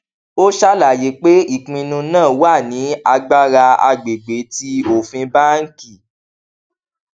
ó ṣàlàyé pé ìpinnu náà wà ní agbára agbègbè ti òfin báńkì